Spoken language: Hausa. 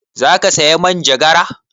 Za ka saya manjagara?